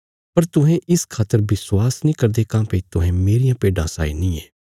पर तुहें इस खातर विश्वास नीं करदे काँह्भई तुहें मेरियां भेड्डां साई नीं यें